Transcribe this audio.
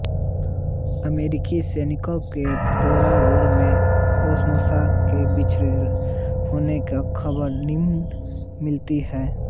अमेरिकी सैनिको को टोरा बोरा में ओसामा के छिपे होने की खबर मिली थी